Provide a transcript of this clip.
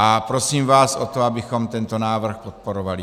A prosím vás o to, abychom tento návrh podporovali.